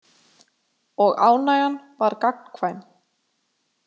Og ánægjan var gagnkvæm.